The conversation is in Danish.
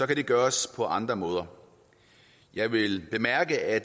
det gøres på andre måder jeg vil bemærke at